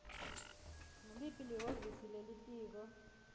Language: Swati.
nguliphi lihhovisi lelitiko